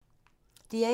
DR1